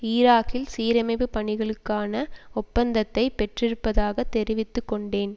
ஈராக்கில் சீரமைப்பு பணிகளுக்கான ஒப்பந்தத்தை பெற்றிருப்பதாக தெரிந்து கொண்டேன்